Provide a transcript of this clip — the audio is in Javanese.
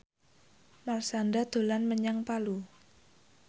Marshanda dolan menyang Palu